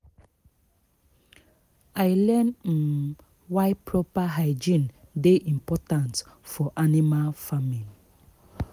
i learn um why proper hygiene dey important for animal farming